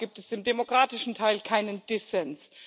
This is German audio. Ich glaube, da gibt es im demokratischen Teil keinen Dissens.